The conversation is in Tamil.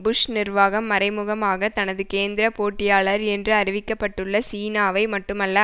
புஷ் நிர்வாகம் மறைமுகமாக தனது கேந்திர போட்டியாளர் என்று அறிவிக்க பட்டுள்ள சீனாவை மட்டுமல்ல